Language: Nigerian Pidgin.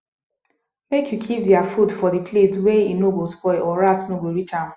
make u keep their food for the place wey e no go spoil or rat no go reach am